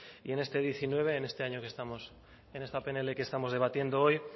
y en este diecinueve en esta pnl que estamos debatiendo hoy